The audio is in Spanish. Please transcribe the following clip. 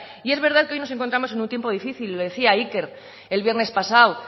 y es verdad que hoy nos encontramos en un tiempo difícil lo decía iker el viernes pasado